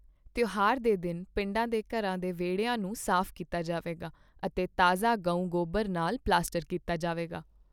ਤਿਉਹਾਰ ਦੇ ਦਿਨ, ਪਿੰਡਾਂ ਦੇ ਘਰਾਂ ਦੇ ਵਿਹੜਿਆਂ ਨੂੰ ਸਾਫ਼ ਕੀਤਾ ਜਾਵੇਗਾ ਅਤੇ ਤਾਜ਼ਾ ਗਊ ਗੋਬਰ ਨਾਲ ਪਲਸਤਰ ਕੀਤਾ ਜਾਵੇਗਾ।